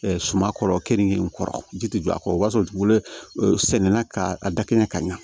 suman kɔrɔ keninge in kɔrɔ ji tɛ jɔ a kɔrɔ o b'a sɔrɔ dugukolo sɛnɛnna ka a dakɛn ka ɲa